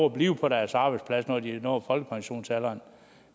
at blive på deres arbejdsplads når de har nået folkepensionsalderen